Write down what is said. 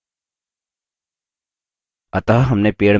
अतः हमने पेड़ में पत्ते जोड़ दिये हैं!